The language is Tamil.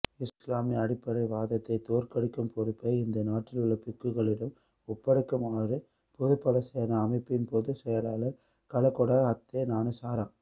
இஸ்லாமிய அடிப்படைவாதத்தை தோற்கடிக்கும் பொறுப்பை இந்த நாட்டிலுள்ள பிக்குகளிடம் ஒப்படைக்குமாறு பொதுபல சேனா அமைப்பின் பொதுச் செயலாளர் கலகொட அத்தேஞானசார